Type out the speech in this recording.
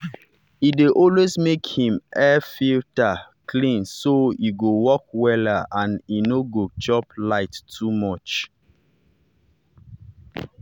he dey always make him air-filter clean so e go work wella and e no go chop light too much.